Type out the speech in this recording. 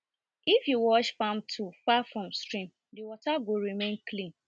if you wash farm tool far from stream the water go remain clean